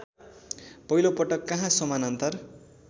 पहिलोपटक कहाँ समानान्तर